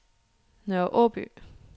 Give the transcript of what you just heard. Nørre Aaby